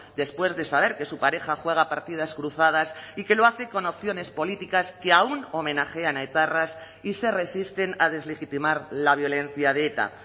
después de saber que su pareja juega partidas cruzadas y que lo hace con opciones políticas que aún homenajean a etarras y se resisten a deslegitimar la violencia de eta